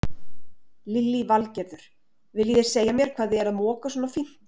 Lillý Valgerður: Viljið þið segja mér hvað þið eruð að moka svona fínt?